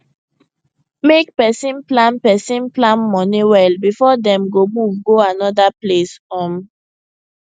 make person plan person plan money well before dem move go another place um